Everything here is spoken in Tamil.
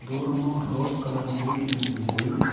தூரமா ஒரு ரோஸ் கலர் பில்டிங் தெரியுது.